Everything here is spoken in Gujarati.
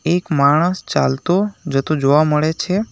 એક માણસ ચાલતો જતો જોવા મળે છે.